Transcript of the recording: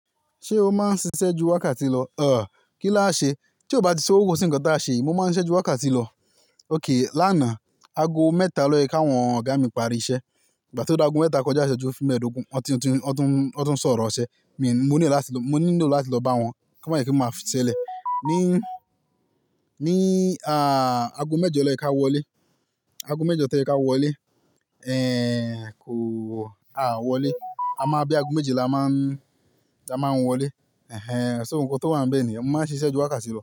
Ṣé o máa ń ṣiṣẹ́ ju wákàtí lọ? Ọ̀, kí láṣẹ. Tí ọ bá ti sówó kò sí ǹkan táa ṣe. Mo máa ń ṣiṣẹ́ ju wákàtí lọ. Óké, lánàá agọ mẹ́ta lọ lóyè kí àwọn ọ̀gá mi pari iṣẹ́. Bí ìgbà ti ọ dá àgọ mẹ́ta kọjá iṣẹju fi mẹ́ẹ̀ẹ́dógún, wọ́n ti ń sọ̀rọ̀ ọṣẹ. Mi ò m̀óńílò láti lọ bá wọn, kò má jé wípé má fi ṣẹlẹ̀. Ni, ni, ah, ago mẹ́jọ lọ jéka wọlé. Ago mẹ́jọ tójẹ̀ ká wọlé. Ehn, kò, a wọlé. A máa bí àgó méjé ni a máa ń, a máa ń wọlé. Ehn, ṣo nkán tó wá ń bẹ́ẹ̀ ni yén? Mo máa ń ṣiṣẹ́ ju wákàtí lọ.